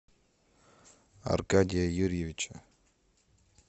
аркадия юрьевича